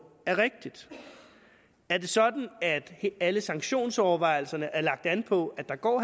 er rigtig er det sådan at alle sanktionsovervejelserne er lagt an på at der går